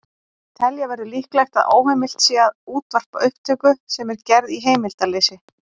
Telja verður líklegt að óheimilt sé að útvarpa upptöku sem er gerð í heimildarleysi.